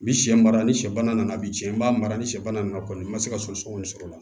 Ni sɛ mara ni sɛ bana nana biɲɛ n b'a mara ni sɛ bana nana kɔni n ma se ka sɔgɔsɔgɔni sɔrɔ